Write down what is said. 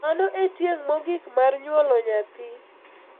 Mano en tieng` mogik mar nyuolo nyathi.